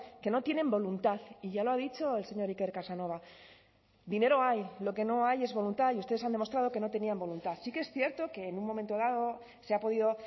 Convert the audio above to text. que no tienen voluntad y ya lo ha dicho el señor iker casanova dinero hay lo que no hay es voluntad y ustedes han demostrado que no tenían voluntad sí que es cierto que en un momento dado se ha podido